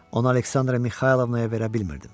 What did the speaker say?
Onu Aleksandra Mixaylovnaya verə bilmirdim.